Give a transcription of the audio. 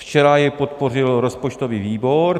Včera jej podpořil rozpočtový výbor.